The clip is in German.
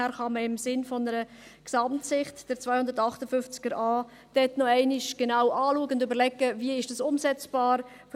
Daher kann man, im Sinne einer Gesamtsicht, den Artikel 258 dort noch einmal genau anschauen und sich überlegen, wie es umsetzbar ist.